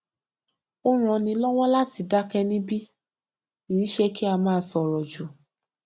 ó ràn ni lọwọ láti dákẹ níbi iṣẹ kí a má sọrọ jù